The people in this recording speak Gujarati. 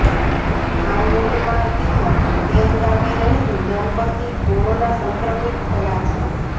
ધામડોદમાં તેમજ તેન ગામે રહેતું દંપતી કોરોના સંક્રમિત થયા છે